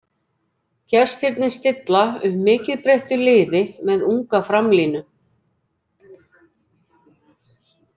Gestirnir stilla upp mikið breyttu liði með unga framlínu.